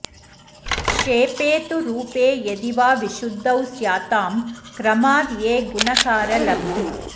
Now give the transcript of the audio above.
क्षेपे तु रूपे यदिवा विशुद्धौ स्यातां क्रमाद् ये गुणकारलब्धी